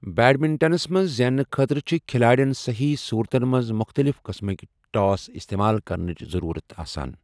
بیڈمنٹنَس منٛز زیننہٕ خٲطرٕ چھِ کھلاڑٮ۪ن صحیح صورتن منٛز مختلف قٕسمٕک ٹاس استعمال کرنٕچ ضروٗرت آسان۔